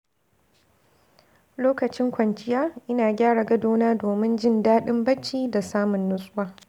Lokacin kwanciya, ina gyara gadona domin jin daɗin bacci da samun nutsuwa.